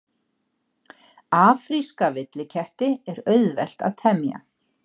Afríska villiketti er auðvelt að temja.